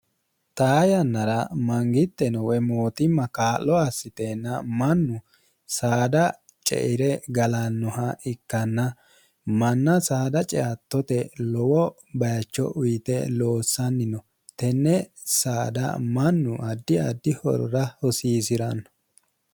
xaa yannara mangitteno woye mootimma kaa'lo assiteenna mannu saada ceire galannoha ikkanna manna saada ceattote lowo bayicho uyite loossanni no tenne saada mannu addi addi horora hosiisi'ranno